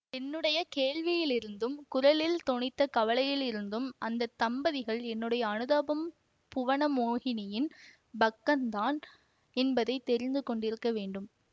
என்னுடைய கேள்வியிலிருந்தும் குரலில் தொனித்த கவலையிலிருந்தும் அந்த தம்பதிகள் என்னுடைய அனுதாபம் புவனமோகினியின் பக்கந்தான் என்பதை தெரிந்து கொண்டிருக்க வேண்டும்